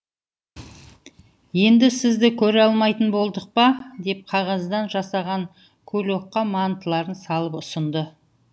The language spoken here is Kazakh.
енді сізді көре алмайтын болдық па деп қағаздан жасаған кулекқа мантыларын салып ұсынды